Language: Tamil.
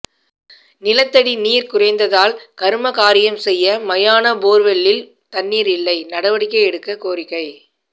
நிலத்தடி நீர் குறைந்ததால் கருமகாரியம் செய்ய மயான போர்வெல்லில் தண்ணீர் இல்லை நடவடிக்கை எடுக்க கோரிக்கை